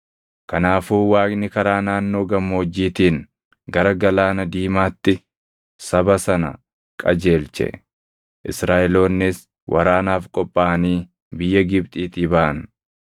Kanaafuu Waaqni karaa naannoo gammoojjiitiin gara Galaana Diimaatti saba sana qajeelche. Israaʼeloonnis waraanaaf qophaaʼanii biyya Gibxiitii baʼan.